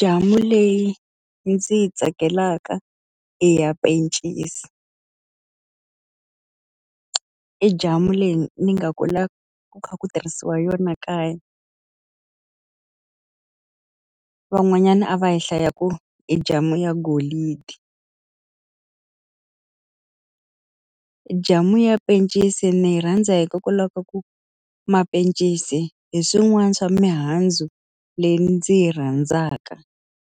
Jamu leyi ndzi yi tsakelaka i ya pencisi. I jamu leyi ni nga kula ku kha ku tirhisiwa yona kaya. Van'wanyana a va yi hlayaku i jamu ya golidi. Jamu ya pencisi ni yi rhandza hikokwalaho ka ku mapencisi hi swin'wana swa mihandzu leyi ndzi yi rhandzaka